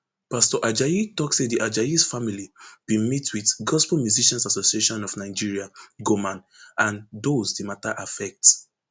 pastor ajayi tok say di ajayis family bin meet wit gospel musicians association of nigeria goman and dose di mata affect